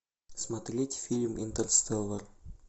смотреть фильм интерстеллар